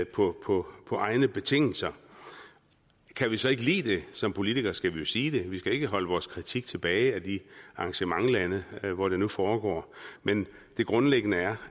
på på egne betingelser kan vi så ikke lide det som politikere skal vi sige det vi skal ikke holde vores kritik tilbage af de arrangementslande hvor det nu foregår men det grundlæggende er